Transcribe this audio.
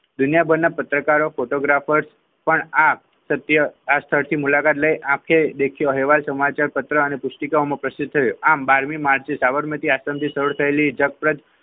દુનિયાભરના પત્રકારો ફોટોગ્રાફર પણ આપ સત્ય મુલાકાત લઈ આપકે દેખ્યો અહેવાલ સમાચાર પત્ર અને પુસ્તિકામાં પ્રસિદ્ધ થયો આમ માંથી સાબરમતી